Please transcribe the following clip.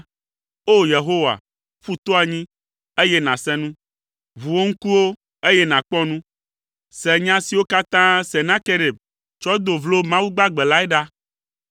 O! Yehowa, ƒu to anyi, eye nàse nu. Ʋu wò ŋkuwo, eye nàkpɔ nu. Se nya siwo katã Senakerib tsɔ do vlo Mawu gbagbe lae ɖa.